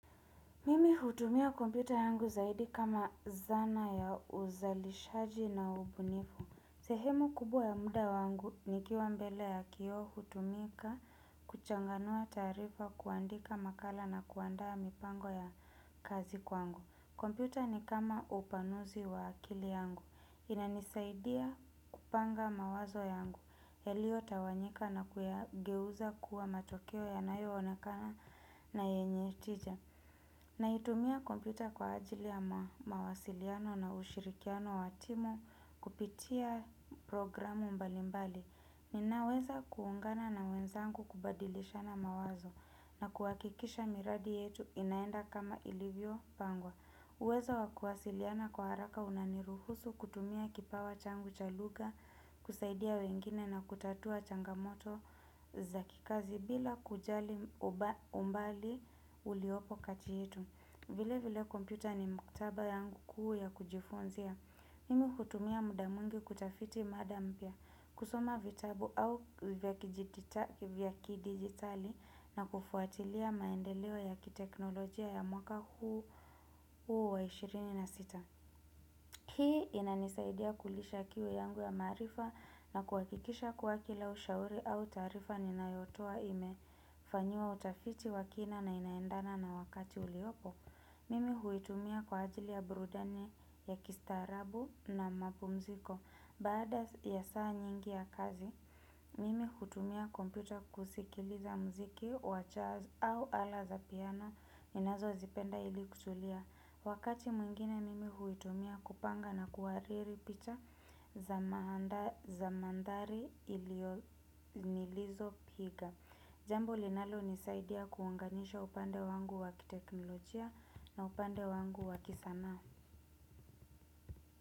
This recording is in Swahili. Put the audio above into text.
Mimi hutumia kompyuta yangu zaidi kama zana ya uzalishaji na ubunifu. Sehemu kubwa ya muda wangu nikiwa mbele ya kioo hutumika, kuchanganua taarifa, kuandika makala na kuandaa mipango ya kazi kwangu. Kompyuta ni kama upanuzi wa akili yangu. Inanisaidia kupanga mawazo yangu yaliyotawanyika na kuyageuza kuwa matokeo yanayo onekana na yenye tija. Naitumia kompyuta kwa ajili ya mawasiliano na ushirikiano wa timu kupitia programu mbali mbali. Ninaweza kuungana na wenzangu, kubadilishana mawazo na kuhakikisha miradi yetu inaenda kama ilivyopangwa. Uwezo wa kuwasiliana kwa haraka unaniruhusu kutumia kipawa changu cha lugha, kusaidia wengine na kutatua changamoto za kikazi bila kujali umbali uliopo kati yetu. Vile vile kompyuta ni maktaba yangu kuu ya kujifunzia. Mimi hutumia muda mwingi kutafiti mada mpya, kusoma vitabu au vya kidijitali na kufuatilia maendeleo ya kiteknolojia ya mwaka huu wa ishirini na sita. Hii inanisaidia kulisha kiu yangu ya maarifa na kuhakikisha kuwa kila ushauri au taarifa ninayotoa ime. Fanyiwa utafiti wa kina na inaendana na wakati uliopo. Mimi huitumia kwa ajili ya burudani ya kistarabu na mapumziko. Baada ya saa nyingi ya kazi mimi hutumia kompyuta kusikiliza muziki wa jazz au ala za piano ninazozipenda ili kutulia. Wakati mwingine huitumia kupanga na kuhariri picha za maa za mandhari nilizopiga. Jambo linalonisaidia kuunganisha upande wangu wa kiteknolojia na upande wangu wa kisanaa.